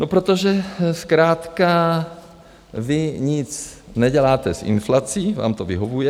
No, protože zkrátka vy nic neděláte s inflací, vám to vyhovuje.